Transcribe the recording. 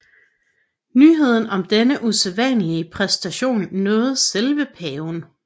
Nyheden om denne usædvanlige præstation nåede selv paven